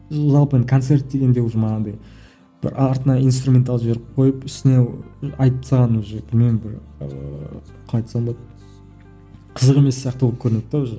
жалпы концерт дегенде уже анандай бір артына инструментал жіберіп қойып үстіне айтып тастаған уже білмеймін бір ііі қалай айтсам болады қызық емес сияқты болып көрінеді де уже